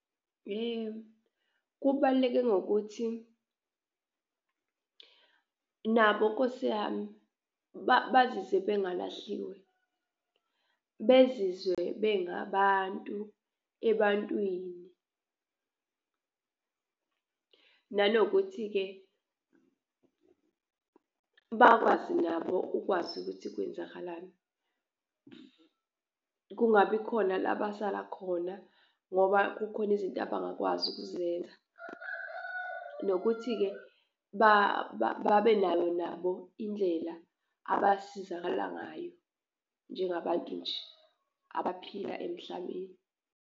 Kubaluleke ngokuthi nabo nkosi yami bazizwe bangalahliwe, bezizwe bengabantu ebantwini nanokuthi-ke bakwazi nabo ukwazi ukuthi kwenzakalani. Kungabi khona labasala khona ngoba kukhona izinto abangakwazi ukuzenza, nokuthi-ke babenayo nabo indlela abasizakala ngayo njengabantu nje abaphila emhlabeni.